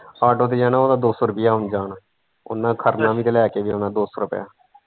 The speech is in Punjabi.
auto ਤੇ ਜਾਣਾ ਉਹਦਾ ਦੋ ਸੋ ਰੁਪਿਆ ਆਣ ਜਾਣ ਉਹਨੇ ਖੜਨਾ ਵੀ ਤੇ ਲੈ ਕੇ ਵੀ ਆਉਣਾ ਦੋ ਸੋ ਰੁਪਏ ਚ।